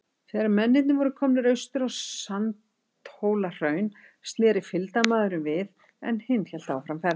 Þegar mennirnir voru komnir austur á Sandhólahraun, sneri fylgdarmaðurinn við, en hinn hélt áfram ferðinni.